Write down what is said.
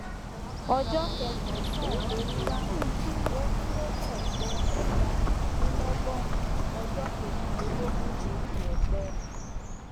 ọjọ kẹsànán san fún ramú ọrìnlélẹgbàádínlọgọrun ọjọ kèjìlélógún oṣù ọpẹ